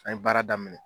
An ye baara daminɛ